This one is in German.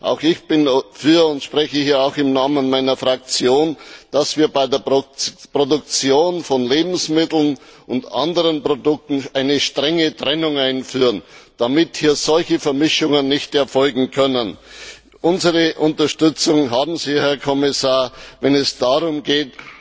Auch ich bin dafür und ich spreche auch im Namen meiner Fraktion dass wir bei der Produktion von Lebensmitteln und anderen Produkten eine strenge Trennung einführen, damit solche Vermischungen nicht erfolgen können. Unsere Unterstützung haben Sie, Herr Kommissar, wenn es darum geht,